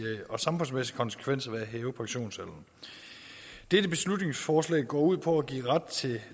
og samfundsmæssige konsekvenser af at hæve pensionsalderen dette beslutningsforslag går ud på at give ret til